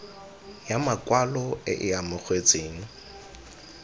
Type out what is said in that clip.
ya makwalo e e amogetsweng